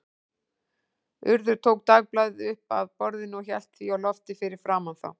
Urður tók dagblaðið upp af borðinu og hélt því á lofti fyrir framan þá.